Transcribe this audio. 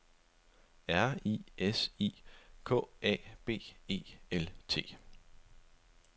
R I S I K A B E L T